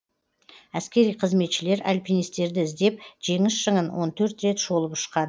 әскери қызметшілер альпинистерді іздеп жеңіс шыңын он төрт рет шолып ұшқан